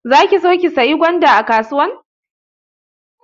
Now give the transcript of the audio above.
Za ki so ki sayi gwanda a kasuwan?